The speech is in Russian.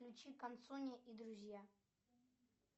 включи консуни и друзья